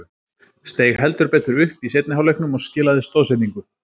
Steig heldur betur upp í seinni hálfleiknum og skilaði stoðsendingu.